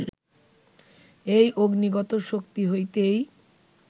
এই অগ্নিগত শক্তি হইতেই